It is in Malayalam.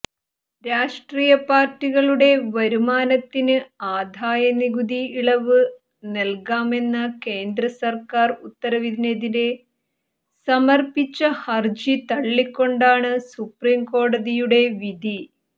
രാഷ്ട്രീയ പാര്ട്ടികളുടെ വരുമാനത്തിന് ആദായ നികുതി ഇളവ് നല്കാമെന്ന കേന്ദ്ര സര്ക്കാര് ഉത്തരവിനെതിരെ സമര്പ്പിച്ച ഹര്ജി തള്ളിക്കൊണ്ടാണ് സുപ്രീംകോടതിയുടെ വിധി